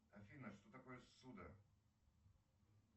афина что такое ссуда